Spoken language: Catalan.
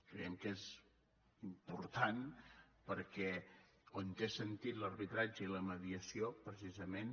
creiem que és important perquè on té sentit l’arbitratge i la mediació precisament